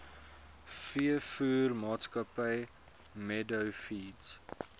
veevoermaatskappy meadow feeds